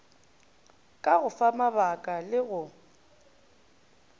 ka go famabaka le go